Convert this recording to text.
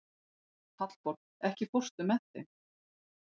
Hallborg, ekki fórstu með þeim?